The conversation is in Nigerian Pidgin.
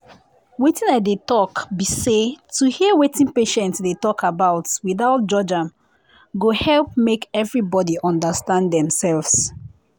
wetin i dey talk be say to hear wetin patient dey talk without judge am go help make everybody understand dem self.